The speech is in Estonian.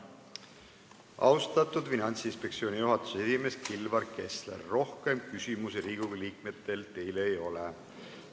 Austatud Finantsinspektsiooni juhatuse esimees Kilvar Kessler, rohkem Riigikogu liikmetel teile küsimusi ei ole.